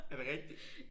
Er det rigtigt?